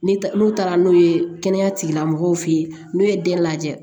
Ni n'u taara n'u ye kɛnɛya tigilamɔgɔw fɛ yen n'u ye den lajɛ